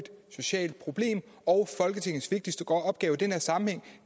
socialt problem og folketingets vigtigste opgave i den her sammenhæng